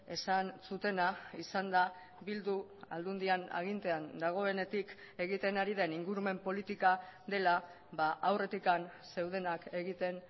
esan zutena izan da bildu aldundian agintean dagoenetik egiten ari den ingurumen politika dela aurretik zeudenak egiten